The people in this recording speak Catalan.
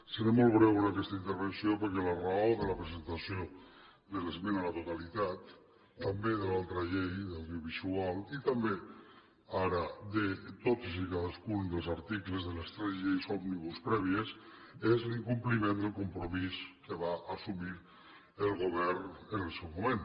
seré molt breu en aquesta intervenció perquè la raó de la presentació de l’esmena a la totalitat també a l’altra llei la de l’audiovisual i també ara de tots i cadascun dels articles de les tres lleis òmnibus prèvies és l’incompliment del compromís que va assumir el govern en el seu moment